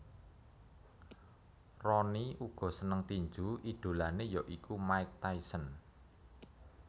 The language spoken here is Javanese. Rooney uga seneng tinju idolanè ya iku Mike Tyson